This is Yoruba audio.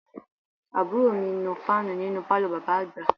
Àbúrò mi ń nu fáànù nínú pálọ̀ bàbá àgbà